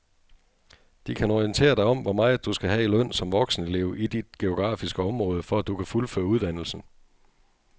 De kan orientere dig om hvor meget du skal have i løn som voksenelev i dit geografiske område, for at du kan fuldføre uddannelsen.